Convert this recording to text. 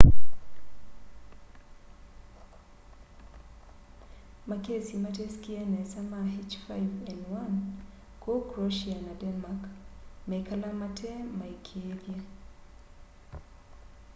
makesi matesikie nesa ma h5n1 kuu croatia na denmark meikala matemaikiithye